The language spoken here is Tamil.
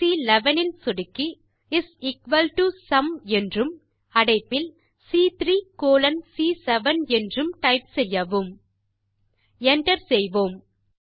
செல் சி11 இல் சொடுக்கி இஸ் எக்குவல் டோ சும் என்றும் அடைப்பில் சி3 கோலோன் சி7 என்றும் டைப் செய்யவும் Enter செய்வோம்